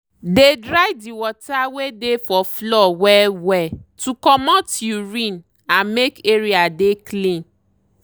dey dry the water wey dey for floor well well to comot urine and make area dey clean.